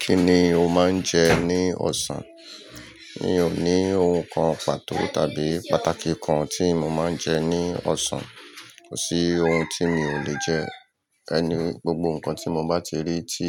Kí ni o máa ń jẹ ní ọ̀sán? Mi ò ní ohun kan pàtó tàbí pàtàkì kan tí mo máa ń jẹ ní ọ̀sán. Kò sí ohun tí mi ò lè jẹ. Ẹ ni gbogbo nǹkan tí mo bá ti rí tí